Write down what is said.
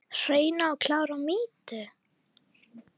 Hreina og klára mýtu?